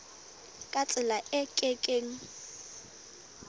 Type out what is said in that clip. ka tsela e ke keng